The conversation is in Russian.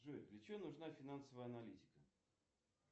джой для чего нужна финансовая аналитика